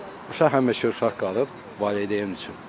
Uşaq həmişə uşaq qalıb valideyn üçün.